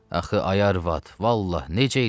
Axı, ay arvad, vallah necə eləyim?